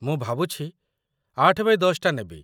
ମୁଁ ଭାବୁଛି ମୁଁ ୮x୧୦ ଟା ନେବି ।